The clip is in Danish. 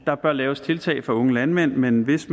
der bør laves tiltag for unge landmænd men hvis